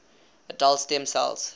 adult stem cells